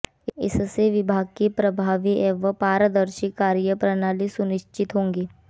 इससे विभाग की प्रभावी एवं पारदर्शी कार्य प्रणाली सुनिश्चित होगी